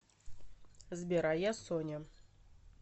сбер а я соня